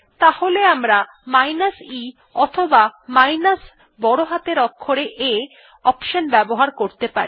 তাহলে আমরা minus e অথবা মাইনাস বড় হাতের অক্ষরে A অপশন ব্যবহার করতে পারি